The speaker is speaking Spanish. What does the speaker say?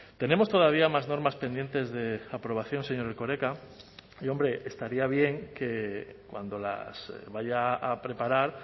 tenemos todavía más normas pendientes de aprobación señor erkoreka y hombre estaría bien que cuando las vaya a preparar